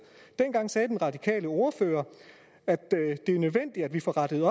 dengang sagde den radikale ordfører det er nødvendigt at vi får rettet